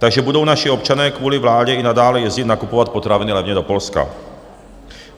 Takže budou naši občané kvůli vládě i nadále jezdit nakupovat potraviny levně do Polska.